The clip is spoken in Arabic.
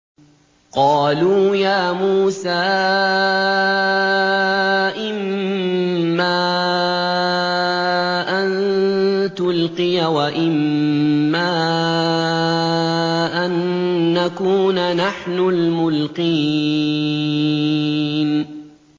قَالُوا يَا مُوسَىٰ إِمَّا أَن تُلْقِيَ وَإِمَّا أَن نَّكُونَ نَحْنُ الْمُلْقِينَ